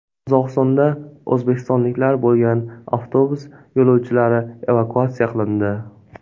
Qozog‘istonda o‘zbekistonliklar bo‘lgan avtobus yo‘lovchilari evakuatsiya qilindi.